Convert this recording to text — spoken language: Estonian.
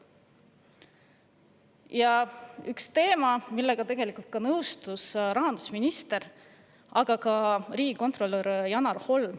Ja veel ühest teemast, millega on tegelikult nõustunud nii rahandusminister kui ka riigikontrolör Janar Holm.